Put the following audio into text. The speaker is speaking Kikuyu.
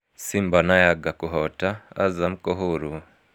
Simba na Yanga kũhota, Azam kũhũrwo.